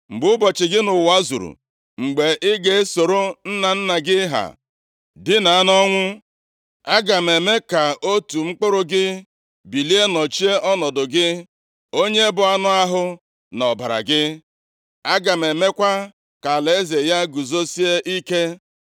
Mgbe ụbọchị gị nʼụwa zuru, mgbe i ga-esoro nna nna gị ha dinaa nʼọnwụ, aga m eme ka otu mkpụrụ gị bilie nọchie ọnọdụ gị, onye bụ anụ ahụ na ọbara gị, aga m emekwa ka alaeze ya guzosie ike.